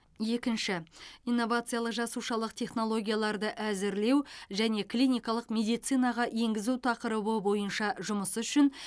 екінші инновациялық жасушалық технологияларды әзірлеу және клиникалық медицинаға енгізу тақырыбы бойынша жұмысы үшін